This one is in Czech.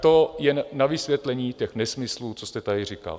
To jen na vysvětlení těch nesmyslů, co jste tady říkal.